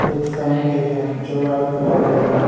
एक फैन भी है जो वाइट कलर के हैं।